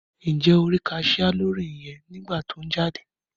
Njẹ o ri cashier lórí yẹn nigba ti o n jáde?